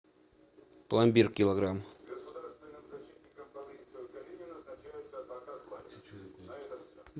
пломбир килограмм